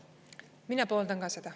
Mina pooldan ka seda.